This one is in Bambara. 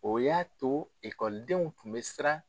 O y'a to ikɔlidenw tun bɛ siran